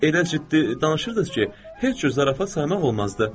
Elə ciddi danışırdınız ki, heç bir zarafat saymaq olmazdı.